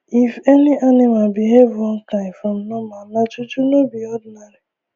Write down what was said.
if any animal behave one kind from normal nah juju no be ordinary